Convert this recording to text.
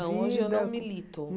Vida não, hoje eu não milito.